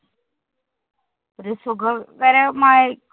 ഒരു സുഖകരമായി~